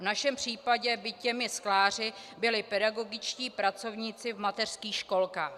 V našem případě by těmi skláři byli pedagogičtí pracovníci v mateřských školkách.